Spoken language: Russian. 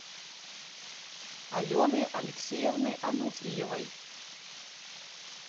алены алексеевны ануфриевой